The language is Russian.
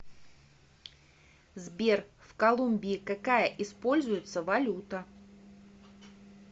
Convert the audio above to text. сбер в колумбии какая используется валюта